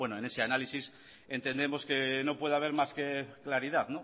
bueno en ese análisis entendemos que no puede haber más que claridad